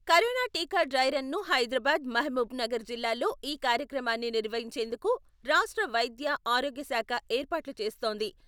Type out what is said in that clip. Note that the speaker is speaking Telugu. కరోనా టీకా డ్రై రన్ను హైదరాబాద్, మహబూబ్ నగర్ జిల్లాల్లో ఈ కార్యక్రమాన్ని నిర్వహిం చేందుకు రాష్ట్ర వైద్య, ఆరోగ్య శాఖ ఏర్పాట్లు చేస్తోంది.